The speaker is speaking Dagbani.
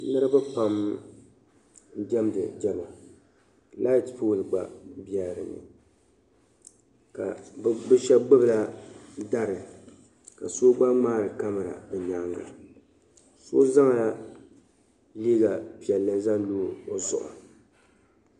Niriba pam n-diɛmdi diɛma. Laati pooli gba bela di ni ka bɛ shɛba gbibila dari ka so gba ŋmaari kamara bɛ nyaaŋga. So zaŋla liiga piɛlli zaŋ lo o zuɣu.